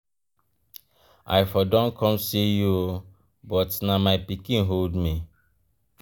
i for don come see you oo but na my pikin hold me.